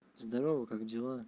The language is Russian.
здорово как дела